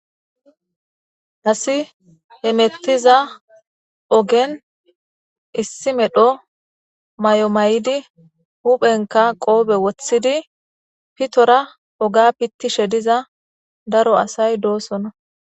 Asi he mettiza ogen issi medho may7o may7idi huphenka qoobe woththidi pitora oga pittishe diza daro asay doosona.